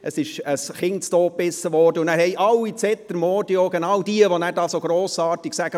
Ein Kind wurde totgebissen, und dann haben alle zetermordio geschrien, genau diejenigen, die nachher so grossartig sagen: